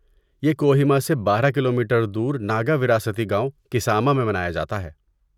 یہ کوہیما سے بارہ کیلو میٹر دور ناگا وراثتی گاؤں، کساما میں منایا جاتا ہے